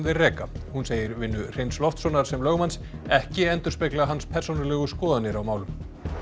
þeir reka hún segir vinnu Hreins Loftssonar sem lögmanns ekki endurspegla hans persónulegu skoðanir á málum